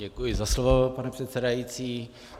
Děkuji za slovo, pane předsedající.